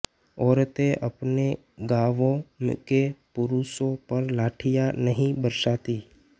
औरतें अपने गांवों के पुरूषों पर लाठियां नहीं बरसातीं